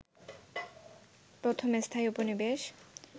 প্রথম স্থায়ী উপনিবেশ